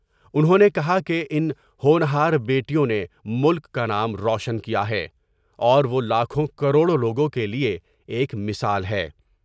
انہوں نے کہا کہ ان ہونہار بیٹیوں نے ملک کا نام روشن کیا ہے اور وہ لاکھوں کروڑوں لوگوں کے لئے ایک مثال ہے ۔